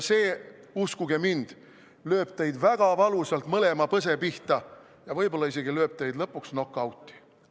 See, uskuge mind, lööb teid väga valusalt mõlema põse pihta ja võib-olla isegi lööb teid lõpuks nokauti.